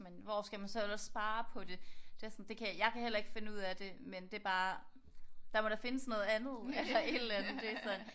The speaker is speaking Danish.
Men hvor skal man så ellers spare på det? Det er også sådan det kan jeg kan heller ikke finde ud af det men det er bare der må der findes noget andet eller et aller andet? Det er sådan